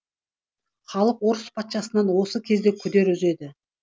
халық орыс патшасынан осы кезде күдер үзеді